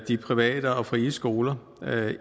de private og frie skoler